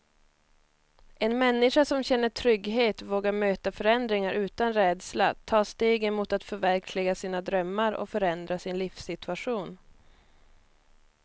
En människa som känner trygghet vågar möta förändringar utan rädsla, ta stegen mot att förverkliga sina drömmar och förändra sin livssituation.